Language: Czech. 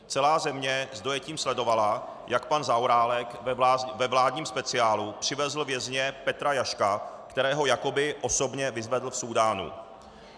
Celá země s dojetím sledovala, jak pan Zaorálek ve vládním speciálu přivezl vězně Petra Jaška, kterého jakoby osobně vyzvedl v Súdánu.